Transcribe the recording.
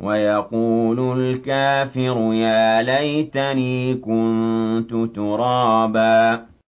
وَيَقُولُ الْكَافِرُ يَا لَيْتَنِي كُنتُ تُرَابًا